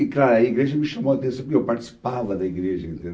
E claro, a igreja me chamou a atenção, meu, porque eu participava da igreja,